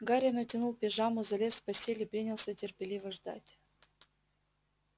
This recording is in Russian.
гарри натянул пижаму залез в постель и принялся терпеливо ждать